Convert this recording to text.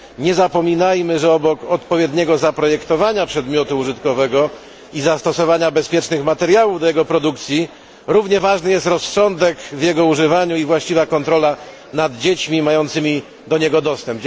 Nie zapominajmy, że obok odpowiedniego zaprojektowania przedmiotu użytkowego i zastosowania bezpiecznych materiałów do jego produkcji, równie ważny jest rozsądek w jego używaniu i właściwa kontrola nad dziećmi mającymi do niego dostęp.